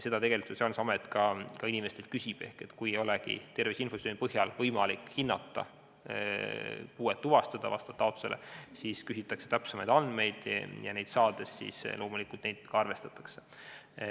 Seda Sotsiaalkindlustusamet inimestelt ka küsib, ehk et kui ei olegi tervise infosüsteemi põhjal võimalik olukorda hinnata ja puuet vastavalt taotlusele tuvastada, siis küsitakse täpsemaid andmeid ja neid loomulikult ka arvestatakse.